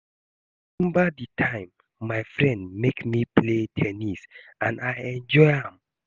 I remember the time my friend make me play ten nis and I enjoy am